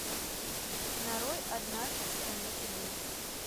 нарой однажды в стране чудес